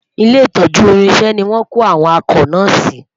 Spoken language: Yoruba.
ilé itọju irinṣẹ ní wón kò àwọn akọ na si